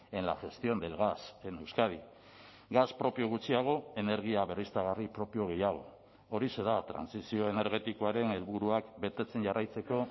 en la gestión del gas en euskadi gas propio gutxiago energia berriztagarri propio gehiago horixe da trantsizio energetikoaren helburuak betetzen jarraitzeko